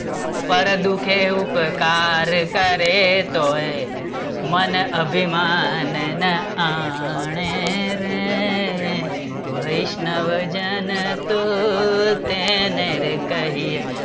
પર દુખે ઉપકાર કરે તો એ મન અભિમાન ન આણે રે, વૈષ્ણવજન તો તેને રે કહીયે